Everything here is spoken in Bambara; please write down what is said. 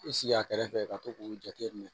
I sigi a kɛrɛfɛ ka to k'o jateminɛ